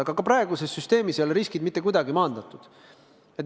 Aga ka praeguses süsteemis ei ole riskid mitte kuidagi maandatud.